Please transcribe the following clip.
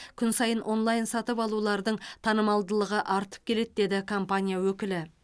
күн сайын онлайн сатып алулардың танымалдығы артып келеді деді компания өкілі